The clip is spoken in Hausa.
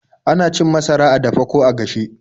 Ana cin masara a dafe ko a gashe.